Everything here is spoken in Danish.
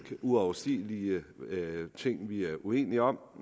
uoverstigelige ting vi er uenige om